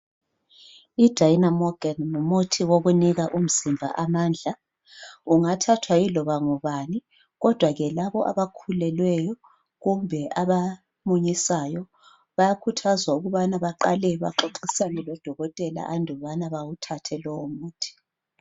IDynamogen ngumuthi wokunika umzimba amandla. Ungathathwa yiloba ngubani kodwa laba abakhulelweyo kumbe abamunyisayo bayakhuthazwa ukubana baqale baxoxisane loDokotela andubana bawuthathe lowo muthi.